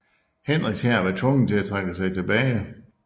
Henriks hær var tvunget til at trække sig tilbage